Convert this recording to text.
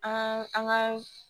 An an ka